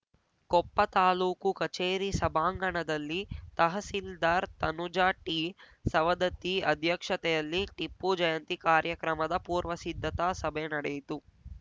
ಕೊಪ್ಪ ತಾಲೂಕು ಕಚೇರಿ ಸಭಾಂಗಣದಲ್ಲಿ ತಹಸೀಲ್ದಾರ್‌ ತನುಜ ಟಿ ಸವದತ್ತಿ ಅಧ್ಯಕ್ಷತೆಯಲ್ಲಿ ಟಿಪ್ಪು ಜಯಂತಿ ಕಾರ್ಯಕ್ರಮದ ಪೂರ್ವ ಸಿದ್ಧತಾ ಸಭೆ ನಡೆಯಿತು